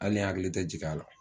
Ali n hakili tɛ jigin a la.